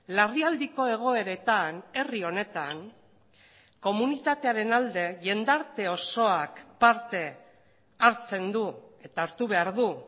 larrialdiko egoeretan herri honetan komunitatearen alde jendarte osoak parte hartzen du eta hartu behar du